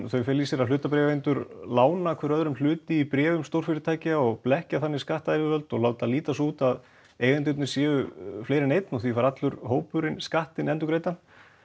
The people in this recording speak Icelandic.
þau fela í sér að hlutabréfaeigendur lána hver öðrum hluti í bréfum stórfyrirtækja og blekkja þannig skattayfirvöld og láta líta svo út að eigendurnir séu fleiri en einn og því fær allur hópurinn skattinn endurgreiddan